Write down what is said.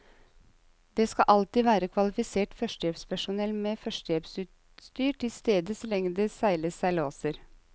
Det skal alltid være kvalifisert førstehjelpspersonell med førstehjelpsutstyr tilstede så lenge det seiles seilaser.